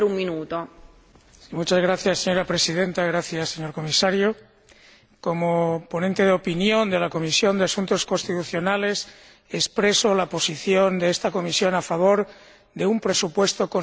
Señora Presidenta, señor Comisario, como ponente de opinión de la Comisión de Asuntos Constitucionales, expreso la posición de esta Comisión a favor de un presupuesto consistente de la Unión Europea.